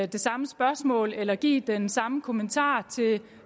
det samme spørgsmål eller give den samme kommentar til